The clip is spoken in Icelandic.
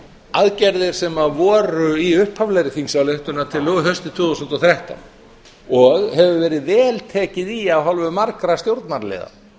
aðgerðir sem voru í upphaflegri þingsályktunartillögu haustið tvö þúsund og þrettán og hefur verið vel tekið í af hálfu margra stjórnarliða